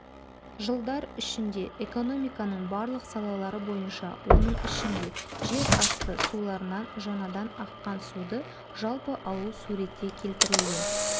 жылдар ішінде экономиканың барлық салалары бойынша оның ішінде жерасты суларынан жаңадан аққан суды жалпы алу суретте келтірілген